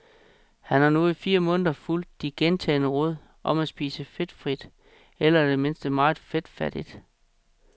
Han har nu i fire måneder fulgt de gentagne råd om at spise fedtfrit eller i det mindste meget fedtfattigt.